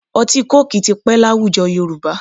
Ọtí kóòkì ti pẹ́ láwùjọ Yorùbá